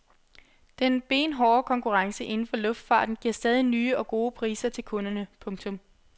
Den benhårde konkurrence inden for luftfarten giver stadig nye og gode priser til kunderne. punktum